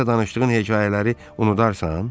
Bizə danışdığın hekayələri unudarsan?